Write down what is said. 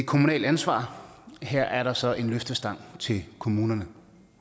kommunalt ansvar og her er der så en løftestang til kommunerne